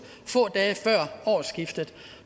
få dage før årsskiftet